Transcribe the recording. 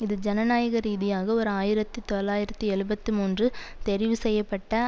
இது ஜனநாயக ரீதியாக ஓர் ஆயிரத்து தொள்ளாயிரத்தி எழுபத்து மூன்று தெரிவு செய்யப்பட்ட